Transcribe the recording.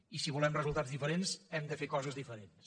i si volem resultats diferents hem de fer coses diferents